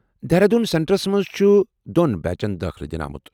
Dehradun centres منٛز چُھ دۄن بیٖچن دٲخلہٕ دِنہٕ آمُت